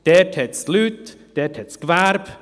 Dort gibt es Leute, dort gibt es Gewerbe.